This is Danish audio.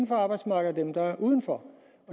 på arbejdsmarkedet og dem der er uden for